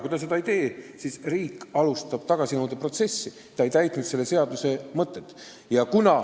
Kui ta seda ei tee, siis alustab riik tagasinõudeprotsessi, sest inimene ei ole järginud selle seaduse mõtet.